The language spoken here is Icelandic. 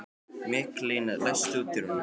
Mikaelína, læstu útidyrunum.